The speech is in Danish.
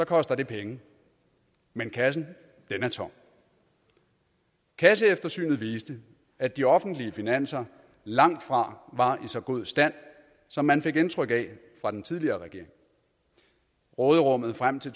koster det penge men kassen er tom kasseeftersynet viste at de offentlige finanser langtfra var i så god stand som man fik indtryk af fra den tidligere regering råderummet frem til